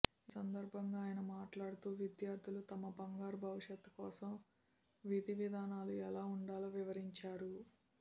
ఈ సందర్భంగా ఆయన మాట్లాడుతూ విద్యార్థులు తమ బంగారు భవిష్యత్ కోసం విధివిధానాలు ఎలా ఉండాలో వివరించారు